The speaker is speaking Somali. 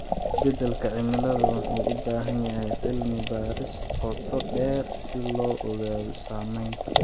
Isbedelka cimilada wuxuu u baahan yahay cilmi baaris qoto dheer si loo ogaado saameynta.